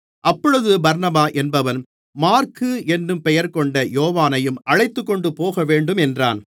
அப்பொழுது பர்னபா என்பவன் மாற்கு என்னும் பெயர்கொண்ட யோவானையும் அழைத்துக்கொண்டு போகவேண்டும் என்றான்